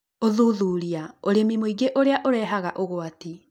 Ũthuthuria: Ũrĩmi Mũingĩ Ũrĩa Ũrevaga ũgwati